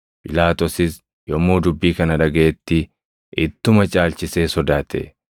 Phiilaaxoosis yommuu dubbii kana dhagaʼetti ittuma caalchisee sodaate.